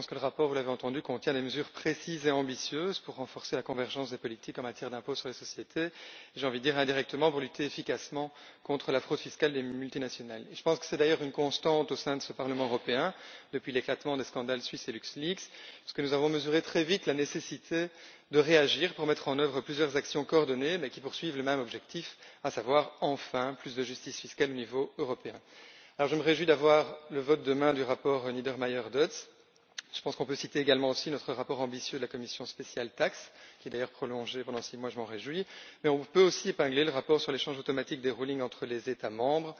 Je pense que le rapport vous l'avez entendu contient des mesures précises et ambitieuses pour renforcer la convergence des politiques en matière d'impôts sur les sociétés et, je dirais indirectement, pour lutter efficacement contre la fraude fiscale des multinationales. Je pense que c'est d'ailleurs une constante au sein de ce Parlement européen, depuis l'éclatement des scandales SwissLeaks et LuxLeaks nous avons mesuré très vite la nécessité de réagir pour mettre en œuvre plusieurs actions coordonnées mais poursuivant le même objectif, à savoir enfin plus de justice fiscale au niveau européen. Je me réjouis de la mise aux voix demain du rapport Niedermayer Dodds. On peut citer également notre rapport ambitieux de la commission spéciale TAXE, dont le mandat est d'ailleurs prolongé de six mois ce dont je me réjouis mais on peut aussi épingler le rapport sur l'échange automatique des rulings entre les États membres,